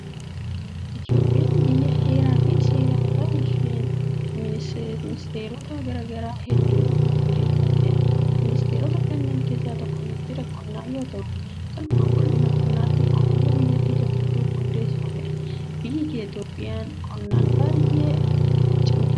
Itoophiyaan biyya Heeraa fi seera mataa isheen ministeerota garaa garaa hundeeffattedha. Ministeerota kanneen keessaa tokko Ministeera Qonnaa yoo ta'u, kan qulqullina qonnaa fi oomisha biyyattii to'achuuf hundeeffamedha. Biyyi Itoophiyaan qonnaan baay'ee cimruudha!